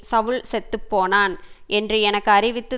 சவுல் செத்து போனான் என்று எனக்கு அறிவித்து